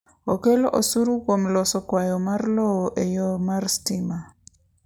okelo osuru kuom loso kwayo mar lowo e yo mar stima